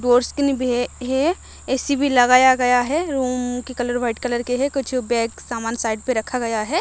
है ए_सी भी लगाया गया है रूम की कलर वाइट कलर के है कुछ बैग सामान साइड पे रखा गया है।